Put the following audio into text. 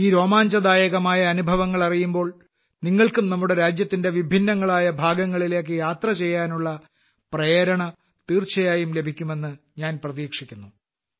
ഈ രോമാഞ്ചദായകമായ അനുഭവങ്ങൾ അറിയുമ്പോൾ നിങ്ങൾക്കും നമ്മുടെ രാജ്യത്തിന്റെ വിഭിന്നങ്ങളായ ഭാഗങ്ങളിലേയ്ക്ക് യാത്ര ചെയ്യുവാനുള്ള പ്രേരണ തീർച്ചയായും ലഭിക്കുമെന്ന് ഞാൻ പ്രതീക്ഷിക്കുന്നു